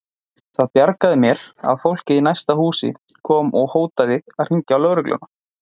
Það bjargaði mér að fólkið í næsta húsi kom og hótaði að hringja í lögregluna.